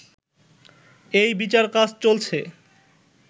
এই বিচারকাজ চলছে